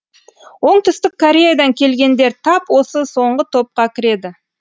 оңтүстік кореядан келгендер тап осы соңғы топқа кіреді